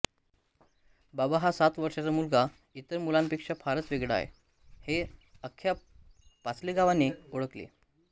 बाबा हा सात वर्षाचा मुलगा इतर मुलांपेक्षा फारच वेगळा आहे हे आख्ख्या पाचलेगावने ओळखले